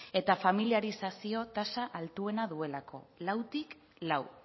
eta familiarizazio tasa altuena duelako lautik lau